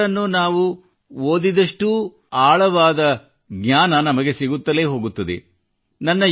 ಶ್ರೀ ಅರವಿಂದರನ್ನು ನಾವು ಓದಿದಷ್ಟು ಆಳವಾದ ಜ್ಞಾನ ನಮಗೆ ಸಿಗುತ್ತಲೇ ಹೋಗುತ್ತದೆ